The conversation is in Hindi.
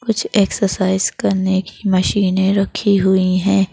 कुछ एक्सरसाइज करने की मशीनें रखी हुई हैं।